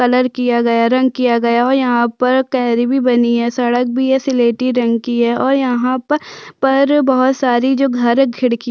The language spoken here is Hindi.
कलर किया है रंग किया और यहाँ पर क्यारी भी बनी है सड़क भी है स्लेटी रंग की है और यहाँ पर पर बहुत सारी जो घर है खिड़की--